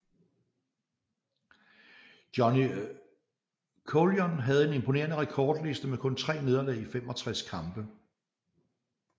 Johnny Coulon havde en imponerende rekordliste med kun 3 nederlag i 65 kampe